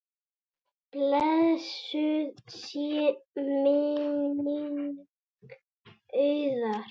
Blessuð sé minning Auðar.